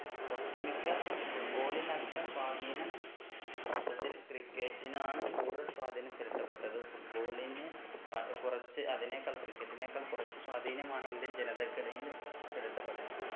ഒട്ടുമിക്ക football ന്റെ അത്ര സ്വാധീനം യഥാർത്ഥത്തിൽ cricket നാണ് കൂടുതൽ സ്വാധീനം ചെലുത്തപ്പെട്ടത് football ന് വളരെ കുറച്ച് അതിനേക്കാൾ cricket നേക്കാൾ കുറച്ചു സ്വാധീനമാണ് indian ജനതക്കിടയില് ചെലുത്തപ്പെട്ടത്